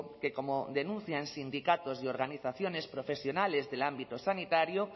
que como denuncian sindicatos y organizaciones profesionales del ámbito sanitario